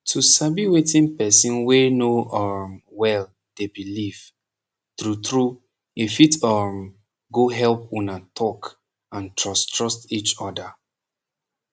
to sabi wetin person wey no um well dey belief trutru e fit um go help una talk and trust trust each oda